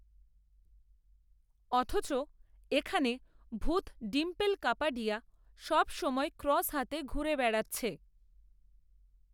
অথচ, এখানে ভূত ডিম্পল কাপাডিয়া সব সময় ক্রস হাতে ঘুরে বেড়াচ্ছে